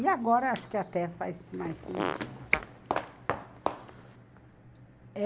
E agora acho que até faz mais sentido.